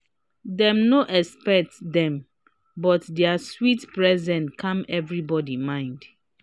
dem no expect dem but dia sweet presence calm everybody mind.